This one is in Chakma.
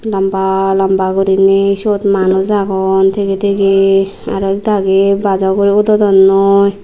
lamba lamba gurine siyot manush aagon tigey tigey aro ekdagi bus o ugurey udodonnoi.